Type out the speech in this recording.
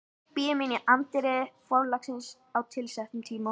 Bíður mín í anddyri forlagsins á tilsettum tíma.